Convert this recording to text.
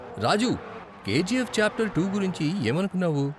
రాజూ, KGF chapter two గురించి ఏమనుకున్నావు?